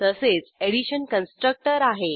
तसेच addition constructor आहे